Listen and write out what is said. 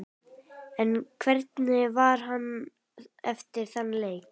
En hvernig var hann eftir þann leik?